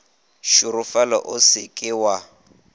šorofala o se ke wa